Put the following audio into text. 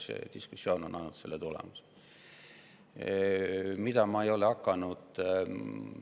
See diskussioon on minu arust andnud selle tulemuse.